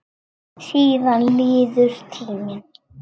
Síðan líður tíminn.